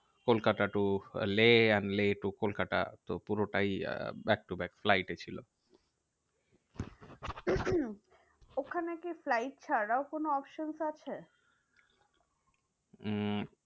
Kolkata to Leh, and Leh to Kolkata. তো পুরোটাই ah back to back flight এ ছিল। ওখানে কি flight ছাড়াও কোনো options আছে? উম